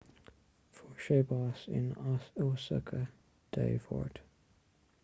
fuair sé bás in osaka dé máirt